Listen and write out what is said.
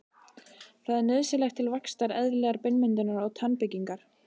Það er nauðsynlegt til vaxtar, eðlilegrar beinmyndunar og tannbyggingar.